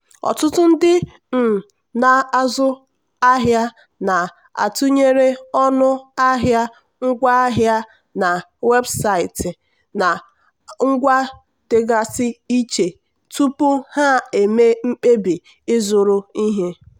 ọtụtụ ndị um na-azụ ahịa na-atụnyere ọnụ ahịa ngwaahịa na webụsaịtị na ngwa dịgasị iche tupu ha eme mkpebi ịzụrụ ihe.